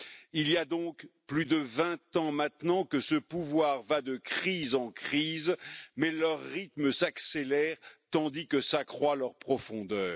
Il y a donc plus de vingt ans maintenant que ce pouvoir va de crises en crises, mais leur rythme s'accélère tandis que s'accroît leur profondeur.